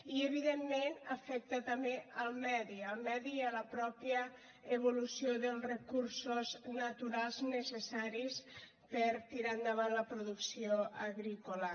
i evidentment afecta també el medi el medi i la mateixa evolució dels recursos naturals necessaris per tirar endavant la producció agrícola